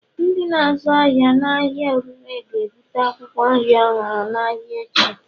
Ndị na-azụ ahịa n'ahịa oriire ga-ebute akwụkwọ nri ọhụrụ n'ahịa echi